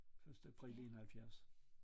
Første april 71